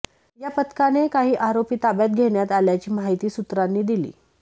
या पथकाने काही आरोपी ताब्यात घेण्यात आल्याची माहिती सूत्रांनी दिली